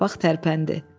Torpaq tərpəndi.